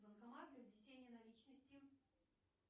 банкомат для внесения наличности